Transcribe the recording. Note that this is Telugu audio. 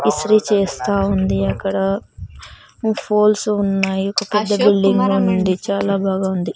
ఇస్త్రీ చేస్తా ఉంది అక్కడ ఫోల్స్ ఉన్నాయి ఒక పెద్ద బిల్డింగు ఉంది చాలా బాగా ఉంది.